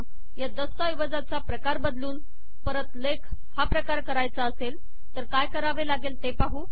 आपल्याला या दस्तऐवजाचा प्रकार बदलून परत लेख करायचा असेल तर काय होईल